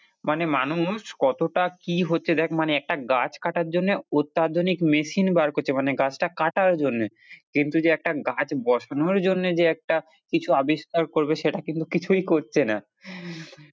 মানে মানুষ কতটা কি হচ্ছে দেখ মানে একটা গাছ কাটার জন্য অত্যাধুনিক machine বার করছে মানে গাছটা কাটার জন্যে কিন্তু যে একটা গাছ বসানোর জন্যে যে একটা কিছু আবিষ্কার করবে সেটা কিন্তু কিছুই করছে না।